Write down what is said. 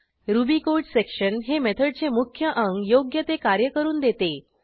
ruby code section हे मेथडचे मुख्य अंग योग्य ते कार्य करून देते